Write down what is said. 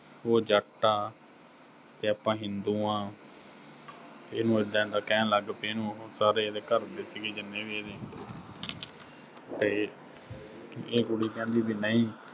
ਉਹ ਜੱਟ ਆ ਤੇ ਆਪਾਂ ਹਿੰਦੂ ਆਂ ਇਹਨੂੰ ਐਦਾਂ-ਐਦਾਂ ਕਹਿਣ ਲੱਗ ਪਏ, ਇਹਨੂੰ ਉਹੋ ਸਾਰੇ ਇਹਦੇ ਘਰ ਦੇ ਸੀਗੇ ਜਿੰਨੇ ਵੀ ਇਹਦੇ, ਤੇ ਇਹ ਕੁੜੀ ਕਹਿੰਦੀ ਵੀ ਨਹੀਂ